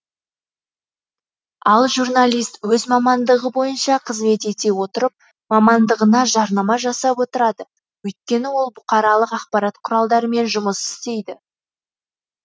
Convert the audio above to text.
ал журналист өз мамандығы бойынша қызмет ете отырып мамандығына жарнама жасап отырады өйткені ол бұқаралық ақпарат құралдарымен жұмыс істейді